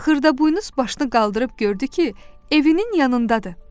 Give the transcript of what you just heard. Xırdaboynuz başını qaldırıb gördü ki, evinin yanındadır.